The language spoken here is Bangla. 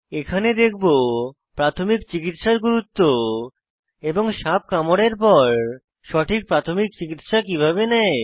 এখানে দেখব প্রাথমিক চিকিত্সার গুরুত্ব এবং সাপ কামড়ের পর সঠিক প্রাথমিক চিকিত্সা কিভাবে নেয়